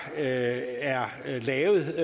er lavet